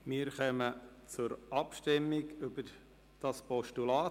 Wir kommen zur Abstimmung über dieses Postulat.